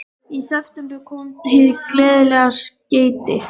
Í september kemur hið gleðilega skeyti.